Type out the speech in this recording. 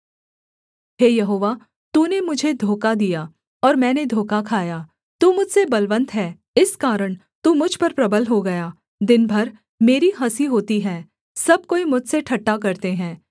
हे यहोवा तूने मुझे धोखा दिया और मैंने धोखा खाया तू मुझसे बलवन्त है इस कारण तू मुझ पर प्रबल हो गया दिन भर मेरी हँसी होती है सब कोई मुझसे ठट्ठा करते हैं